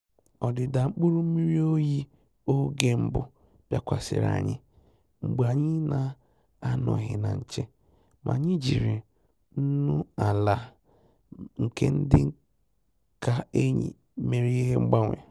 Ọ́dị́dà mkpụ́rụ́ mmírí óyí ògè mbụ́ bìákwàsị̀rị̀ ànyị́ mgbè ànyị́ nà-ànọ́ghị́ nà nchè, mà ànyị́ jírí nnù-àlà nke dì kà ényì mèrè ìhè mgbànwè.